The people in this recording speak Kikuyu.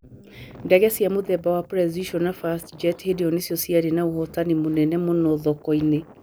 Ndege cia mũthemba wa Precision na Fast Jet hĩndĩ ĩyo nĩcĩo cĩarĩ na ũhootani mũnene mũno thoko-inĩ.